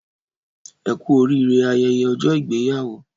Ẹkú orire ayẹyẹ ọjọ ìgbéyàwó